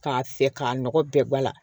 K'a fɛ k'a nɔgɔ bɛɛ bɔ a la